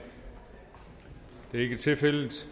er ikke tilfældet